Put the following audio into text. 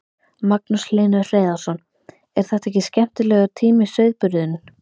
Magnús Hlynur Hreiðarsson: er þetta ekki skemmtilegur tími sauðburðurinn?